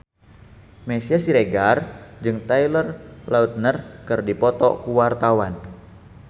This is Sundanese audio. Meisya Siregar jeung Taylor Lautner keur dipoto ku wartawan